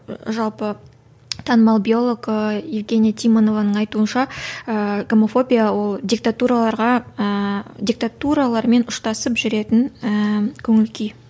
жалпы танымал биолог ыыы евгения тимонованың айтуынша ыыы гомофобия ол диктатураларға ыыы диктатуралармен ұштасып жүретін ііі көңіл күй